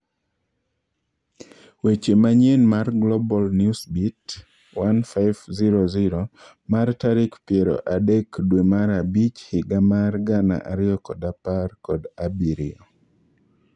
Weche manyien mar Global Newsbeat 1500 mar tarik piero adek dwe mar abich higa mar gana ariyo kod apar kod abirio